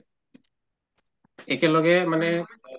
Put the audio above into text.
একেলগে মানে